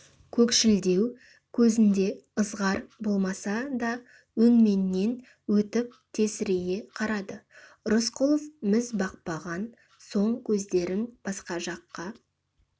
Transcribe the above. көкшілдеу көзінде ызғар болмаса да өңменнен өтіп тесірейе қарады рысқұлов міз бақпаған соң көздерін басқа жаққа